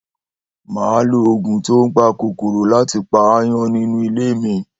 Màá lo ògùn tó ń pa kòkòrò láti pa aáyán nínú ilé mi.